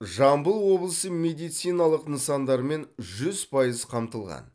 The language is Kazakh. жамбыл облысы медициналық нысандармен жүз пайыз қамтылған